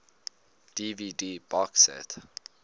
dvd box set